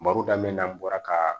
Marodam bɔra ka